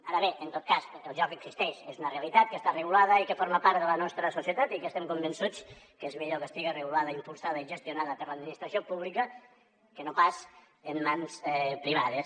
ara bé en tot cas el joc existeix és una realitat que està regulada i que forma part de la nostra societat i que estem convençuts que és millor que estigui regulada impulsada i gestionada per l’administració pública que no pas en mans privades